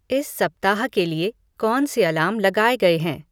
इस सप्ताह के लिए कौन से अलार्म लगाए गए हैं